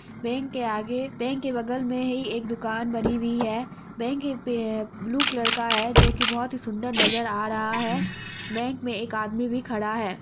Bank के आगे bank के बगल में ही एक दुकान बनी हुई है| बैंक पे अ ब्लू कलर का है जो की बहोत ही सुंदर नजर आ रहा है| बैंक में एक आदमी भी खड़ा है।